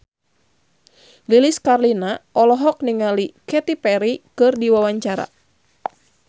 Lilis Karlina olohok ningali Katy Perry keur diwawancara